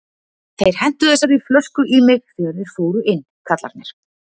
Þeir hentu þessari flösku í mig þegar þeir fóru inn, kallarnir.